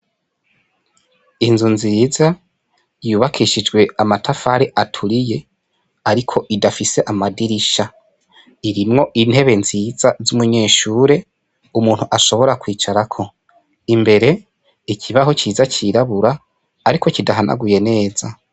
Inzu nziza yubakishijwe amatafari aturiye ariko idafise amadirisha, irimwo intebe nziza z'umunyeshure umuntu ashobora kwicarako, imbere ikibaho ciza cirabura ariko kidahanaguye neza.